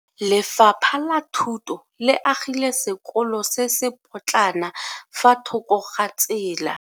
Lefapha la Thuto le agile sekolo se se potlana fa thoko ga tsela.